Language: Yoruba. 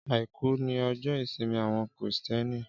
Áikù ni òjò isín áwòn Kristièní